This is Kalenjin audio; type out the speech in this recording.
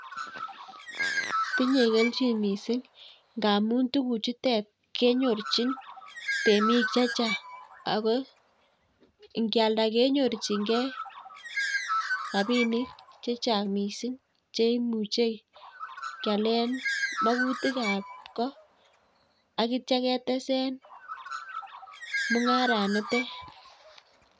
Tinye kelchin missing ngamun tuguk chutet kenyorchin temik chechang' ako kyalda kenyorchingei rapinik chechang' missing cheimuche kyalen magutik ab koo ak itya ketesen mung'aran nito.